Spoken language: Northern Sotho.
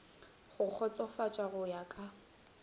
go kgotsofatša go ya ka